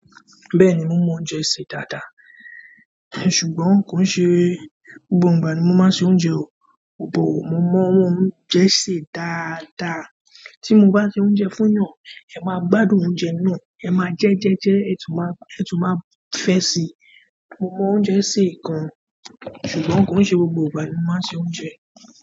Bẹ́ẹ̀ni mo mọ oúnjẹ sè dáadáa, ṣùgbọ́n kò ṣe gbogbo ìgbà ni mo máa ń ṣe oúnjẹ o. Bo mo mọ oúnjẹ sè dáadáa, tí mo bá ṣe oúnjẹ fún èèyàn, ẹ máa gbádùn oúnjẹ náà, ẹ máa jẹ jẹ jẹ, ẹ tún máa fẹ́ si. Mo mọ oúnjẹ sè kan, ṣùgbọ́n kò ṣe gbogbo ìgbà ni mo máa ń ṣe oúnjẹ.